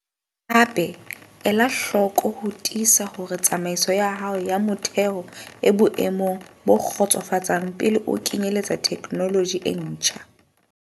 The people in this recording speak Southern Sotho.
Hape, ela hloko ho tiisa hore tsamaiso ya hao ya motheho e boemong bo kgotsofatsang pele o kenyeletsa theknoloji e ntjha.